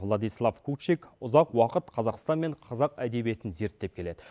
владислав кучик ұзақ уақыт қазақстан мен қазақ әдебиетін зерттеп келеді